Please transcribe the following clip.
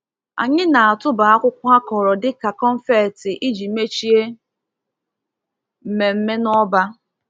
Anyị na-atụba akwụkwọ akọrọ dị ka confetti iji mechie mmemme n'ọba.